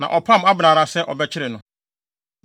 na ɔpam Abner ara sɛ ɔbɛkyere no.